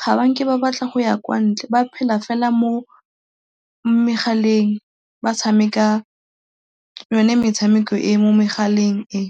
ga ba nke ba batla go ya kwa ntle, ba phela fela mo megaleng ba tshameka yone metshameko e e mo megaleng e.